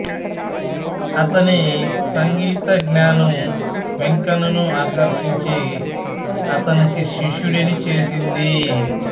అతని సంగీత జ్ఞానం వెంకన్నను ఆకర్షించి అతనికి శిష్యుడిని చేసింది